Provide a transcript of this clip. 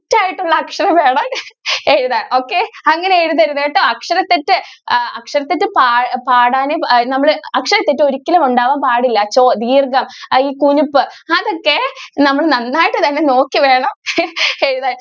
ആയിട്ടുള്ള അക്ഷരം വേണം എഴുതാൻ. okay അങ്ങനെ എഴുതരുത് കേട്ടോ അക്ഷര തെറ്റ് അക്ഷര തെറ്റ് പാ~പാടാനെ നമ്മൾ അക്ഷരത്തെറ്റ് ഒരിക്കലും ഉണ്ടാകാൻ പാടില്ല. ചോ ധീർഗം കുനിപ്പ് അതൊക്കെ നമ്മൾ നന്നായിട്ട് തന്നെ നോക്കി വേണം എഴുതാൻ.